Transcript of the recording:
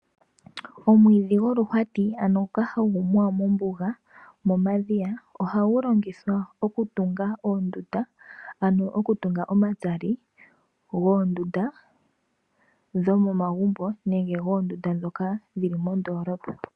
Omwiidhi goluhwati ngoka hagu muwa mombuga momadhiya ohagu longithwa okutunga oondunda ano okutunga omatsali goondunda dhomomagumbo nenge dhoondunda dho moondolopa.